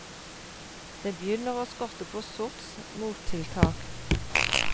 Det begynner å skorte på sorts mottiltak.